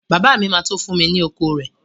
Bàbá mi ma tó fún mi ni oko rẹ